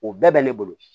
O bɛɛ bɛ ne bolo